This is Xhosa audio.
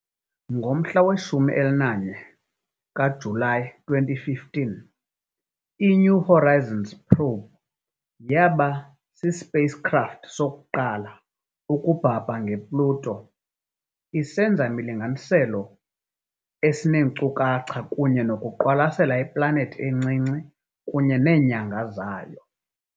Ngomhla we-14 kaJulayi, i-2015, i- "New Horizons" probe yaba yi-spacecraft yokuqala ukubhabha nge-Pluto, isenza imilinganiselo eneenkcukacha kunye nokuqwalasela iplanethi encinci kunye neenyanga zayo.